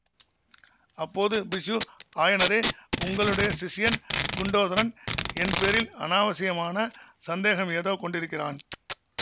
அப்போது பிக்ஷு ஆயனரே உங்களுடைய சிஷ்யன் குண்டோதரன் என் பேரில் அநாவசியமான சந்தேகம் ஏதோ கொண்டிருக்கிறான்